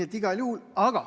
Seda igal juhul!